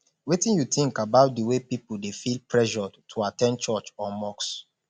wetin you think about di way people dey feel pressured to at ten d church or mosque